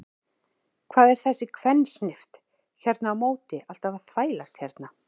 Hvað er þessi kvensnift hérna á móti alltaf að þvælast hérna?